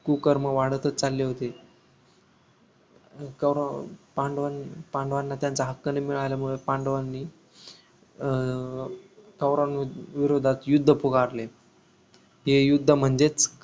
कुकर्म वाढतच चालले होते कौरव पांडवन पांडवांना त्यांचा हक्क न मिळाल्यामुळे पांडवांनी अं कौरवांविरुद्धात युद्ध पुकारल हे युद्ध म्हणजेच